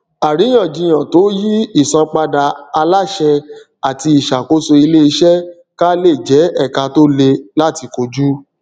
àríyànjiyàn tó yí ìsanpadà aláṣẹ ati ìṣàkóso iléiṣẹ ká lè jẹ ẹka tó le láti kojú